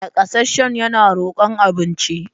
Nakasasshen yana rokon abinci.